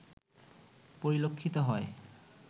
পরিলক্ষিত হয়